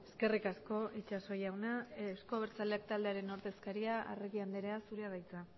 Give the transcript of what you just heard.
eskerrik asko itxaso jauna euzko abertzaleak taldearen ordezkaria arregi andrea zurea da hitza